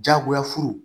Diyagoya furu